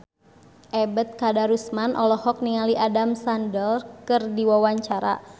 Ebet Kadarusman olohok ningali Adam Sandler keur diwawancara